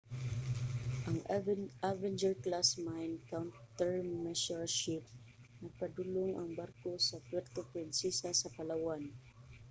ang avenger-class mine countermeasures ship nagpadulong ang barko sa puerto princesa sa palawan